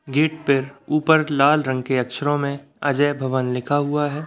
Gate पे ऊपर लाल रंग के अक्षरों में अजय भवन लिखा हुआ है।